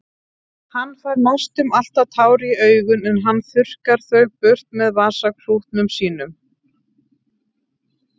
Hann fær næstum alltaf tár í augun en hann þurrkar þau burt með vasaklútnum sínum.